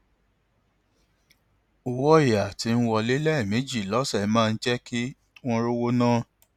owó ọyà tí ń wọlé lẹẹmejì lọsẹ máa ń jẹ kí wọn rówó ná